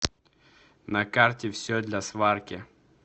на карте все для сварки